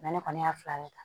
ne kɔni y'a fila de ta